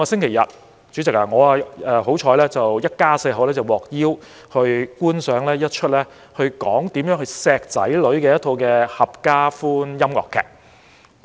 代理主席，上星期天，我一家四口幸運地獲邀觀賞一齣如何愛惜子女的合家歡音樂劇。